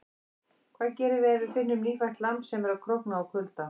Hvað gerum við ef við finnum nýfætt lamb sem er að krókna úr kulda?